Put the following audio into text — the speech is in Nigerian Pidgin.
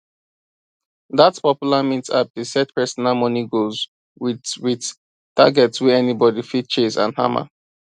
that popular mint app dey set personal money goals with with targets wey anybody fit chase and hammer